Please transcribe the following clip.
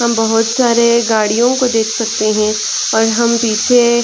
हम बहुत सारे गाड़ियों को देख सकते है और हम पीछे--